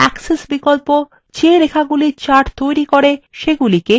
axis বিকল্প the রেখাগুলি chart তৈরী করে সেগুলিকে এবং